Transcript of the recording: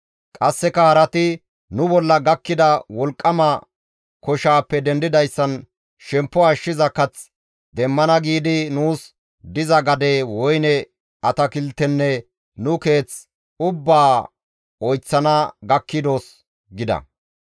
Qasseka harati, «Nu bolla gakkida wolqqama koshaappe dendidayssan shemppo ashshiza kath demmana giidi nuus diza gade, woyne atakiltenne nu keeth ubbaa oyththana gakkidos» gida.